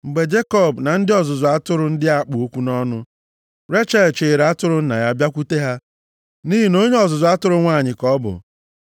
Mgbe Jekọb na ndị ọzụzụ atụrụ ndị a kpụ okwu nʼọnụ, Rechel chịịrị atụrụ nna ya bịakwute ha, nʼihi na onye ọzụzụ atụrụ nwanyị ka ọ bụ.